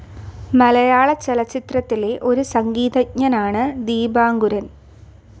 മലയാളചലച്ചിത്രത്തിലെ ഒരു സംഗീതജ്ഞനാണ് ദീപാങ്കുരൻ.